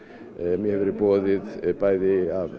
mér hefur verið boðið bæði af